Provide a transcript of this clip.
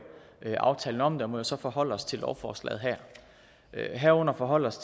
aftalen om det og må jo så forholde os til lovforslaget her herunder forholde os